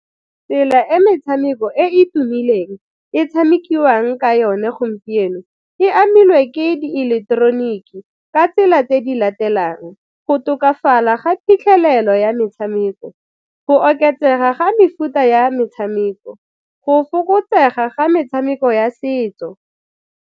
Tsela e metshameko e e tumileng e tshamekiwang ka yone gompieno e amilwe ke di eleketeroniki ka tsela tse di latelang, go tokafala ga phitlhelelo ya metshameko, go oketsega ga mefuta ya metshameko, go fokotsega ga metshameko ya setso.